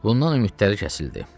Bundan ümidləri kəsildi.